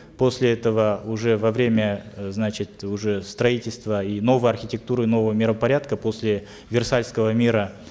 после этого уже во время э значит уже строительство и новой архитектуры нового миропорядка после версальского мира